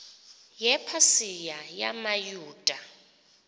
yepa sika yamayuda